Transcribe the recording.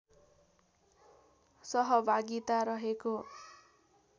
सहभागिता रहेको